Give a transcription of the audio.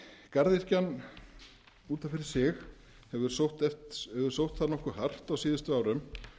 garðyrkjan út af fyrir sig hefur sótt það nokkuð hart á síðustu árum